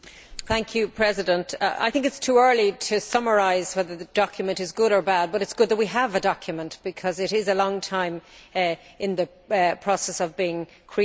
Mr President, I think it is too early to summarise whether the document is good or bad, but it is good that we have a document because it was a long time in the process of being created.